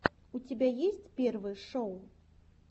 у тебя есть первые шоу